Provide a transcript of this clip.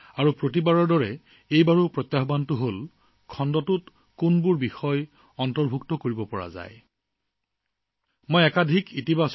আৰু প্ৰতিবাৰৰ দৰেই খণ্ডটোত কোনবোৰ বিষয় অন্তৰ্ভুক্ত কৰিব সেইটো নিৰ্ণয় কৰাটো এটা প্ৰত্যাহ্বান আছিল